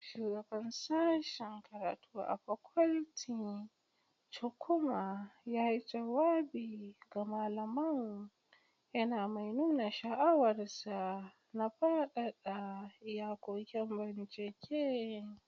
shugabar Sashen karatu ta fakulty Chukwuma yayi jawabi ga malaman, yana mai nuna sha'awarsa na fadada iyakokin bincike.